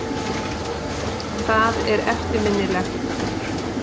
Það er eftirminnilegt.